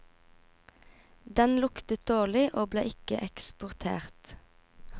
Den luktet dårlig og ble ikke eksportert.